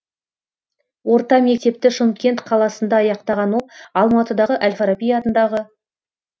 орта мектепті шымкент қаласында аяқтаған ол алматыдағы әл фараби атындағы